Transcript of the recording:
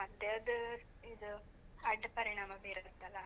ಮತ್ತೇ ಅದ್ ಇದ್ ಅಡ್ಡ್ ಪರಿಣಾಮ ಬೀರತ್ತಲ್ಲ.